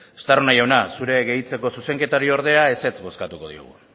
estarrona jauna zure gehitzeko zuzenketari ordea ezetz bozkatuko diogu